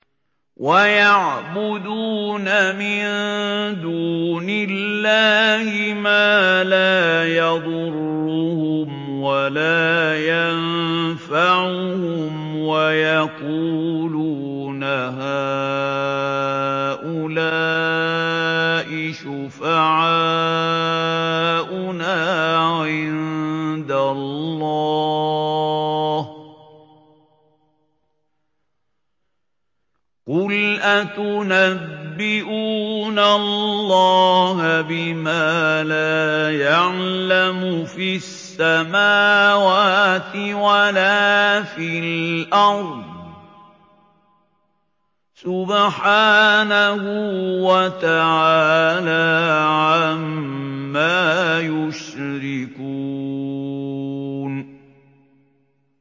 وَيَعْبُدُونَ مِن دُونِ اللَّهِ مَا لَا يَضُرُّهُمْ وَلَا يَنفَعُهُمْ وَيَقُولُونَ هَٰؤُلَاءِ شُفَعَاؤُنَا عِندَ اللَّهِ ۚ قُلْ أَتُنَبِّئُونَ اللَّهَ بِمَا لَا يَعْلَمُ فِي السَّمَاوَاتِ وَلَا فِي الْأَرْضِ ۚ سُبْحَانَهُ وَتَعَالَىٰ عَمَّا يُشْرِكُونَ